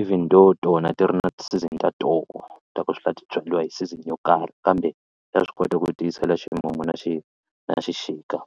even though tona ti ri na ti-season ta toho ta ku swi la ti byariwa hi season yo karhi kambe ta swi kota ku tiyisela ximumu na na xixika .